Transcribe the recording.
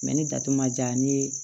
ni datu ma ja ni